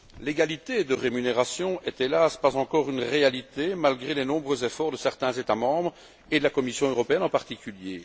L'égalité de rémunération n'est hélas pas encore une réalité malgré les nombreux efforts de certains États membres et de la Commission européenne, en particulier.